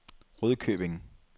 Rudkøbing